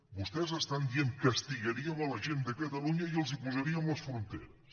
vostès estan dient castigaríem la gent de catalunya i els posarien les fronteres